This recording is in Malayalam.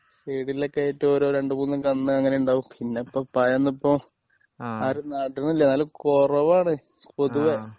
സൈഡിൽ ഒക്കെ ആയിട്ട് ഓരോ രണ്ടും മൂന്നും കന്ന് അങ്ങനെ ഉണ്ടാവും പിന്നെ ഇപ്പോ പഴമൊന്നും ഇപ്പോ ആരും നടുന്നില്ല എന്നാലും കൊറവാണ് പൊതുവേ